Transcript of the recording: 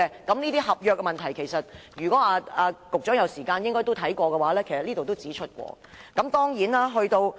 這些合約問題，如果局長有時間，可以看看專家小組報告，裏面都有提出。